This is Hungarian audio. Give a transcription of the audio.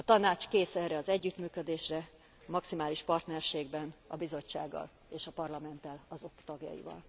A Tanács kész erre az együttműködésre, maximális partnerségben a Bizottsággal és a Parlamenttel, azok tagjaival.